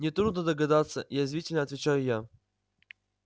нетрудно догадаться язвительно отвечаю я